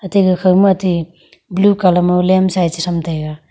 te gakha matey blue colour ma lem sai chesham taiga.